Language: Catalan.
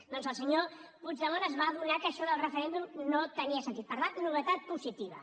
doncs el senyor puigdemont es va adonar que això del referèndum no tenia sentit per tant novetat positiva